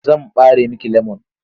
Zan ɓare miki lemon.